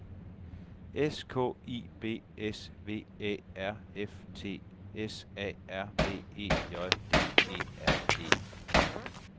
S K I B S V Æ R F T S A R B E J D E R E